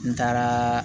N taaraa